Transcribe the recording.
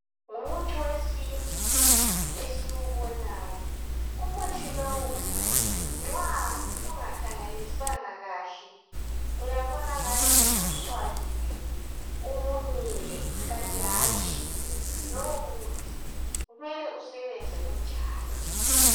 numuthi wesintu esiwubonayo umuthi lowu nxa ungakhangelisisanga kahle uyabona angani ususwabile ubunile kanti hatshi lowu muthi kumele usebenze unjalo